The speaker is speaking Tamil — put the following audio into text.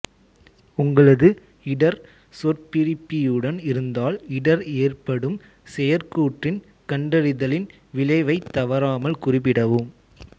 உங்களது இடர் சொற்பிரிப்பியுடன் இருந்தால் இடர் ஏற்படும் செயற்கூற்றின் கண்டறிதலின் விளைவைத் தவறாமல் குறிப்பிடவும்